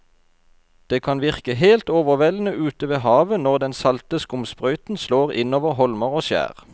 Det kan virke helt overveldende ute ved havet når den salte skumsprøyten slår innover holmer og skjær.